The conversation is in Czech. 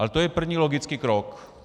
Ale to je první logický krok.